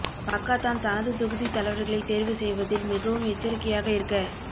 Pakatan தனது தொகுதித் தலைவர்களைத் தேர்வு செய்வதில் மிகவும் எச்சரிக்கையாக இருக்க